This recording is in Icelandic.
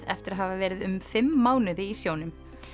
eftir að hafa verið um fimm mánuði í sjónum